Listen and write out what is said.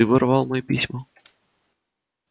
ты воровал мои письма